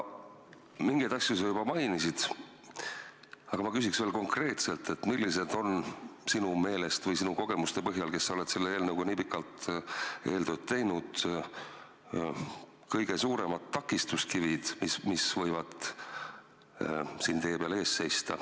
Mingeid asju sa juba mainisid, aga ma küsin veel konkreetselt: millised on sinu meelest või sinu kogemuste põhjal, kes sa oled selle eelnõuga nii pikalt eeltööd teinud, kõige suuremad takistuskivid, mis võivad siin tee peal ees seista?